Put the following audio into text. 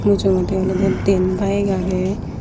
mujoindi olode dian bayek agey.